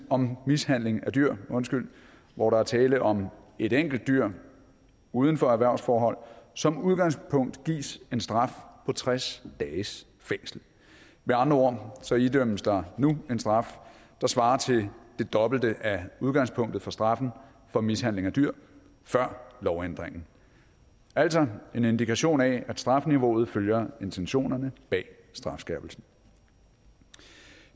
om mishandling af dyr hvor der er tale om et enkelt dyr uden for erhvervsforhold som udgangspunkt gives en straf på tres dages fængsel med andre ord idømmes der nu en straf der svarer til det dobbelte af udgangspunktet for straffen for mishandling af dyr før lovændringen altså en indikation af at strafniveauet følger intentionerne bag strafskærpelsen